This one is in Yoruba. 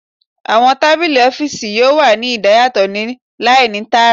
Awọn tabili ọfiisi yoo wa ni idayatọ ni laini taara